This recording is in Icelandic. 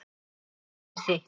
Líf hans er þitt.